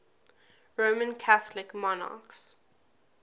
roman catholic monarchs